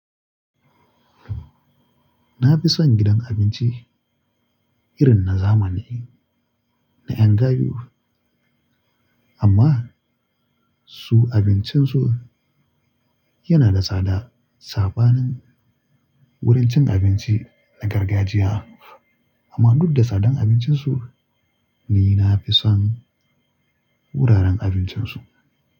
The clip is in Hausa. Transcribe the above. Na fi son gidan abinci irin na zamani na en gayu amma su abincin su yana da tsada sabanin wurin cin abinci na gargajiya amma duk da tsadan abincin su ni nafi son wuraren abincin su.